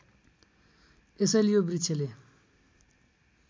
यसैले यो वृक्षले